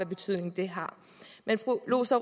betydning det har men fru rosa